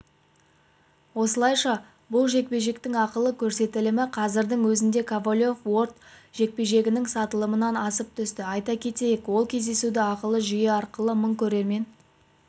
осылайша бұл жекпе-жектің ақылы көрсетілімі қазірдің өзінде ковалев-уорд жекпе-жегінің сатылымынан асып түсті айта кетейік ол кездесуді ақылы жүйе арқылы мың көрермен